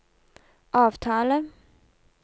avtale